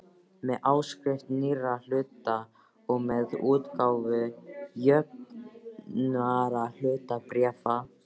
með áskrift nýrra hluta og með útgáfu jöfnunarhlutabréfa.